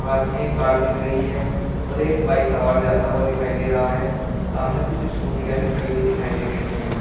पास मे एक कार दिख रही है और एक बाइक सवार जाता हुआ दिखाई दे रहा है सामने कुछ स्कूटीया भी खड़ी हुई दिखाई दे रही है।